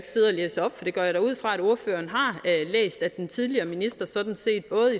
ordføreren har læst at den tidligere minister sådan set både